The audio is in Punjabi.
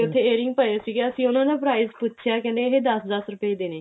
ਤੇ ਫੇਰearrings ਪਏ ਸੀਗੇ ਅਸੀਂ ਉਹਨਾ ਦਾ price ਪੁੱਛਿਆਂ ਕਹਿੰਦੇ ਇਹ ਦਸ ਦਸ ਰੁਪਏ ਦੇ ਨੇ